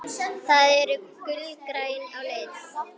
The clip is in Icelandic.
Þau eru gulgræn á lit.